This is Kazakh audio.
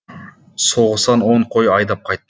соғыстан он қой айдап қайт